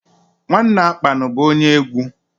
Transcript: Nwanne Akpan bụ onye egwu.